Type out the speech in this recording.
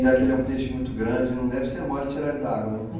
Já que ele é um peixe muito grande, não deve ser mole tirar ele da água, não?